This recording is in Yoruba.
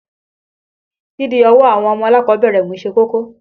Dídi ọwọ́ àwọn ọmọ alákọ̀ọ́bẹ̀rẹ̀ mú ṣe kókó.